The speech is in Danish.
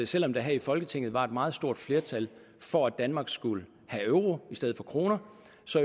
selv om der her i folketinget var et meget stort flertal for at danmark skulle have euro i stedet for kroner